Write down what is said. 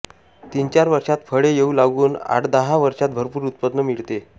तीनचार वर्षांत फळे येऊ लागून आठदहा वर्षांत भरपूर उत्पन्न मिळते